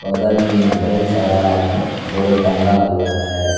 बगल में बहुत सारा बोर्ड टंगा हुआ है।